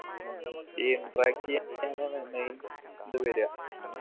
ഉം ഈ interact എയ്യാ main ഇത് വരുഅ